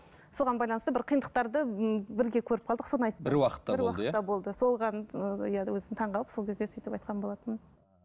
соған байланысты бір қиындықтарды бірге көріп қалдық соны айттым бір уақытта болды соған иә өзім таңғалып сол кезде сөйтіп айтқан болатынмын